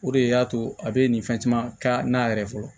O de y'a to a bɛ nin fɛn caman kɛ a n'a yɛrɛ fɔlɔ